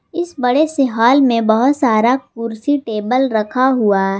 इस बड़े से हाल में बहुत सारा कुर्सी टेबल रखा हुआ--